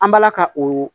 An balaka o